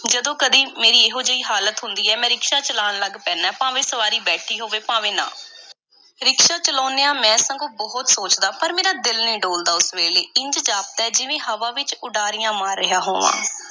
ਜਦੋਂ ਕਦੀ ਮੇਰੀ ਇਹੋ-ਜਿਹੀ ਹਾਲਤ ਹੁੰਦੀ ਐ, ਮੈਂ ਰਿਕਸ਼ਾ ਚਲਾਉਣ ਲੱਗ ਪੈਦਾਂ, ਭਾਵੇਂ ਵਿੱਚ ਸਵਾਰੀ ਬੈਠੀ ਹੋਵੇ, ਭਾਵੇਂ ਨਾ। ਰਿਕਸ਼ਾ ਚਲਾਉਂਦਿਆਂ ਮੈਂ ਸਗੋਂ ਬਹੁਤ ਸੋਚਦਾਂ, ਪਰ ਮੇਰਾ ਦਿਲ ਨਹੀਂ ਡੋਲਦਾ, ਉਸ ਵੇਲੇ। ਇੰਝ ਜਾਪਦੈ ਜਿਵੇਂ ਹਵਾ ਵਿੱਚ ਉਡਾਰੀਆਂ ਮਾਰ ਰਿਹਾ ਹੋਵਾਂ।